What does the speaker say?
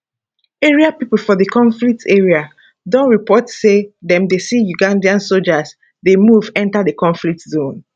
area pipo for di conflict area don report say dem dey see uganda soldiers dey move enta di conflict zone